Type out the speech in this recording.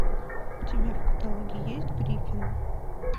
у тебя в каталоге есть гриффины